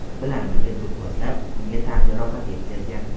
bilan birga do‘pposlab, unga tan jarohati yetkazgan.